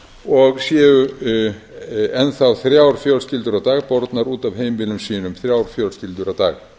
og séu enn þá þrjár fjölskyldur á dag bornar út af heimilum sínum þrjár fjölskyldur á dag